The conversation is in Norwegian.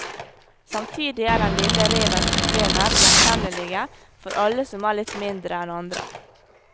Samtidig er den lille revens problemer gjenkjennelige for alle som er litt mindre enn andre.